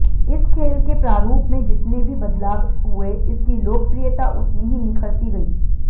इस खेल के प्रारूप में जितने भी बदलाव हुए इसकी लोकप्रियता उतनी ही निखरती गई